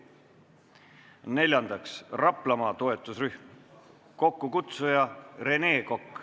Neljandaks, Raplamaa toetusrühm, kokkukutsuja on Rene Kokk.